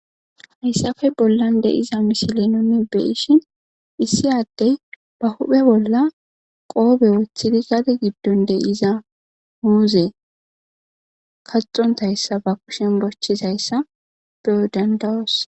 hayssafe bollan deiza misile nuni beishin issi addey ba huphe bolla qoobe woothidi gade giddon deyiza huuze kaxontayssa ba kushen bochizayssa beyo dandawos